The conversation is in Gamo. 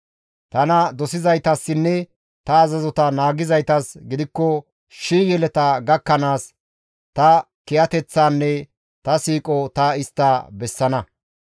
Tana dosizaytassinne ta azazota naagizaytas gidikko shii yeleta gakkanaas ta kiyateththaanne ta siiqo ta istta bessana.